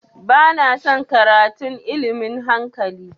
Ba na son karatun ilmin hankali